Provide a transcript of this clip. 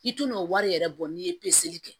I tun n'o wari yɛrɛ bɔ n'i ye peseli kɛ